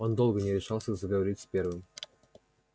он долго не решался заговорить первым